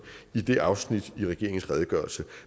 i det afsnit af regeringens redegørelse